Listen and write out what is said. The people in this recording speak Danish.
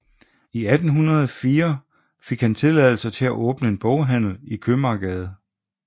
I 1804 fik han tilladelse til at åbne en boghandel i Købmagergade